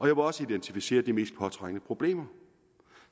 vil også identificere de mest påtrængende problemer